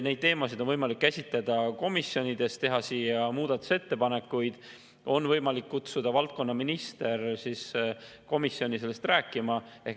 Neid teemasid on võimalik käsitleda komisjonides, teha siia muudatusettepanekuid, on võimalik kutsuda valdkonnaminister komisjoni sellest rääkima.